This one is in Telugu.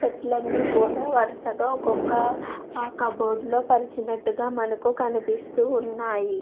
పెట్టేలన్ని కూడా వరుసుగా ఒక్కొక్క కబోర్డ్ లోని పరిచినట్టుగా మనకు కనిపిస్తూ ఉన్నాయి.